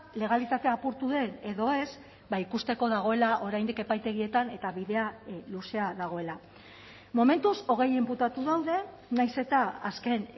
legalitatea apurtu den edo ez ikusteko dagoela oraindik epaitegietan eta bidea luzea dagoela momentuz hogei inputatu daude nahiz eta azken